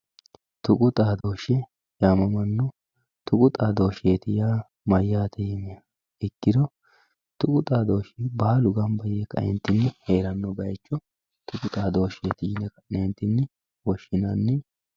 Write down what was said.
tuqu xaadooshshe yaamamanno tuqu xaadooshshe yaa mayyaate yiniha ikkiro tuqu xaadooshshi baalu ganba yee ka"eentinni heeranno baycho tuqu xaadooshsheeti yine ka'neentinni woshshinanni.